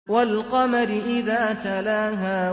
وَالْقَمَرِ إِذَا تَلَاهَا